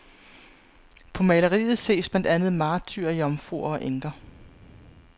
På maleriet ses blandt andet martyrer, jomfruer og enker.